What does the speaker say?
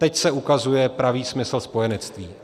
Teď se ukazuje pravý smysl spojenectví.